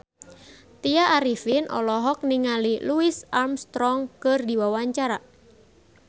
Tya Arifin olohok ningali Louis Armstrong keur diwawancara